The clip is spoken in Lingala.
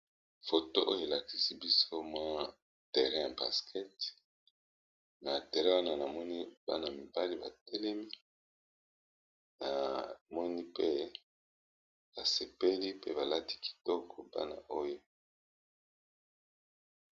Photo oyo elakisi biso mwa terrain ya basket na tere wana na moni bana mibali batelemi na moni pe basepeli pe balati kitoko bana oyo.